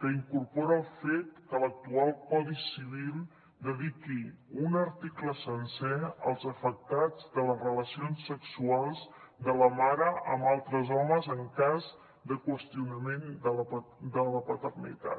que incorpora el fet que l’actual codi civil dediqui un article sencer als afectats de les relacions sexuals de la mare amb altres homes en cas de qüestionament de la paternitat